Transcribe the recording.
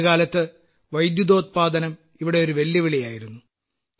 ഒരു കാലത്ത് വൈദ്യുതോത്പാദനം ഇവിടെ ഒരു വെല്ലുവിളിയായിരുന്നു